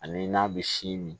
Ani n'a bɛ sin min